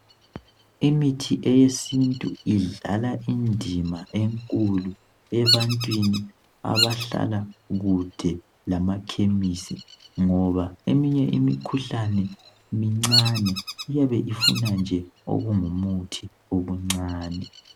Imithi yesintu idlala indima enkulu ebantwini abahlala kude lamakhemisi ngoba eminye imikhuhlane mincane iyabe ifuna nje okungumuthi okuncane